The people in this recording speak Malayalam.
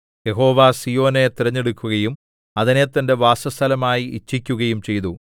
യഹോവ സീയോനെ തിരഞ്ഞെടുക്കുകയും അതിനെ തന്റെ വാസസ്ഥലമായി ഇച്ഛിക്കുകയും ചെയ്തു